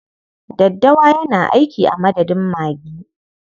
Daddawa yana aiki a madadin magi.